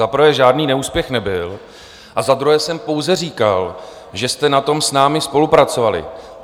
Za prvé, žádný neúspěch nebyl, a za druhé jsem pouze říkal, že jste na tom s námi spolupracovali.